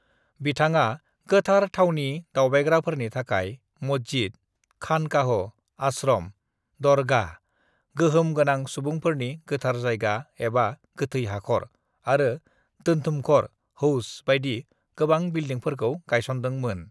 "बिथाङा गोथार थावनि दावबायग्राफोरनि थाखाय मस्जिद, खानकाहों (आश्रम), दरगाह (गोहोम गोनां सुबुंफोरनि गोथार जायगा एबा गोथै हाखर) आरो दोनथुमखर (हौज) बायदि गोबां बिलडिंफोरखौ गायसनदों मोन।"